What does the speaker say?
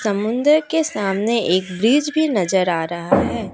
समुंदर के सामने एक ब्रिज भी नजर आ रहा है।